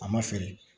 A ma feere